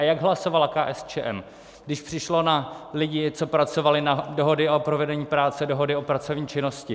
A jak hlasovala KSČM, když přišlo na lidi, co pracovali na dohody o provedení práce, dohody o pracovní činnosti?